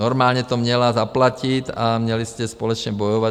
Normálně to měla zaplatit a měli jste společně bojovat.